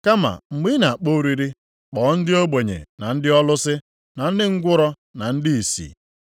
Kama mgbe ị na-akpọ oriri, kpọọ ndị ogbenye na ndị ọlụsị na ndị ngwụrọ na ndị ìsì.